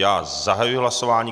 Já zahajuji hlasování.